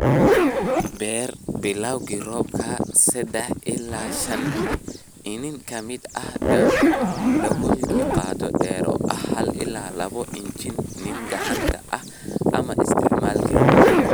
"Beer bilawga roobka, sadah ilaa shan iniin ka mid ah daloolkiiba qoto dheer oo ah hal ilaa labo inch iniiniin gacanta ah ama isticmaal galleyda."